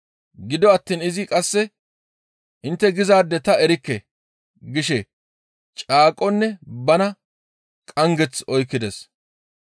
Gido attiin izi qasse, «Intte gizaade ta erikke!» gishe caaqonne bana qanggeth oykkides.